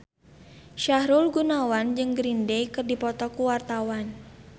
Sahrul Gunawan jeung Green Day keur dipoto ku wartawan